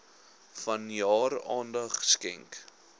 vanjaar aandag skenk